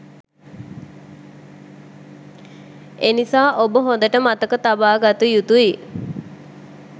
එනිසා ඔබ හොඳට මතක තබාගත යුතුයි